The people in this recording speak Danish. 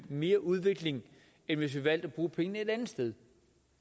mere udvikling end hvis vi valgte at bruge pengene et andet sted